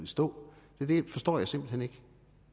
stå det forstår jeg simpelt hen ikke